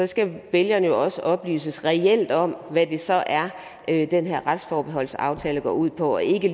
skal vælgerne jo også oplyses reelt om hvad det så er er den her retsforbeholdsaftale går ud på og ikke